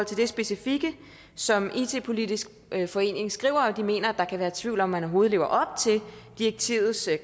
til det specifikke som it politisk forening skriver om at de mener at der kan være i tvivl om om man overhovedet lever op til direktivets